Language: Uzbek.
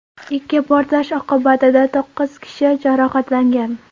Ikki portlash oqibatida to‘qqiz kishi jarohatlangan.